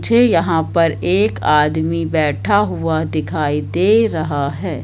झे यहां पर एक आदमी बैठा हुआ दिखाई दे रहा है।